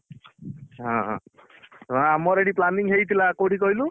ହଁ ଆମର ଏଠି planning ହେଇଥିଲା କୋଉଠିକି କହିଲୁ?